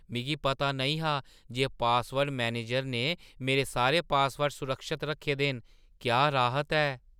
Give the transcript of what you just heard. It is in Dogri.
मिगी पता नेईं हा जे पासवर्ड मैनेजर ने मेरे सारे पासवर्ड सुरक्षत रक्खे दे न। क्या राहत ऐ!